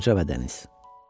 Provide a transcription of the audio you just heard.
Qoca və dəniz.